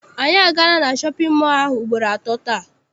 Anyị agaala na shọpịn mọọ ahụ ugboro atọ taa.